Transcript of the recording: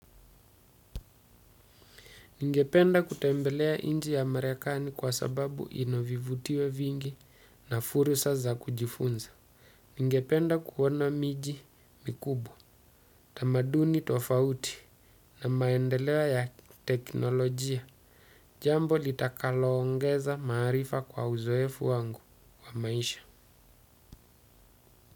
Ningependa kutembelea nchi ya merekani kwa sababu ina vivutio vingi na fursa za kujifunza. Ningependa kuona miji mikubwa, tamaduni tofauti na maendeleo ya teknolojia. Jambo litakalongeza maarifa kwa uzoefu wangu wa maisha.